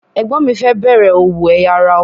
Ẹ̀gbọ́n mi fẹ́ bẹ̀rẹ̀ òwò ẹ̀ya ara ọkọ̀.